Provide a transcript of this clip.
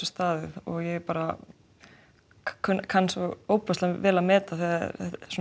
staðið ég kann ofboðslega vel að meta þegar